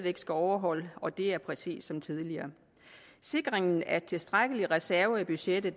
skal overholde og det er præcis som tidligere sikringen af tilstrækkelige reserver i budgettet